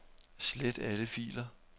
Slet alle filer.